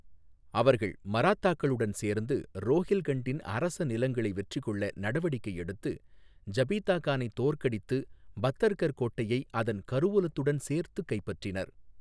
அவர்கள் மராத்தாக்களுடன் சேர்ந்து ரோஹில்கண்டின் அரச நிலங்களை வெற்றிகொள்ள நடவடிக்கை எடுத்து, ஜபிதா கானை தோற்கடித்து, பத்தர்கர் கோட்டையை அதன் கருவூலத்துடன் சேர்த்துக் கைப்பற்றினர்.